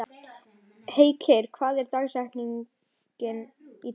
Heikir, hvað er í dagatalinu mínu í dag?